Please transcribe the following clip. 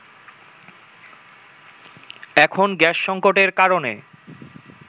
এখন গ্যাস সংকটের কারণে